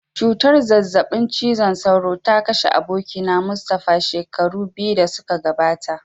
Cutar zazzabin cizon sauro ta kashe abokina Mustapha shekaru biyu da suka gabata.